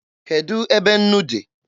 Kedụ ebe nnu dị?